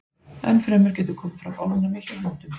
Enn fremur getur komið fram ofnæmi hjá hundum.